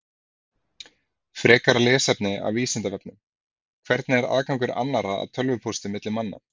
Frekara lesefni af Vísindavefnum: Hvernig er aðgangur annarra að tölvupósti milli manna?